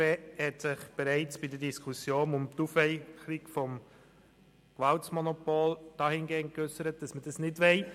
Die BDP hat sich bereits anlässlich der Diskussion um die Aufweichung des Gewaltmonopols dahingehend geäussert, dass sie das nicht will.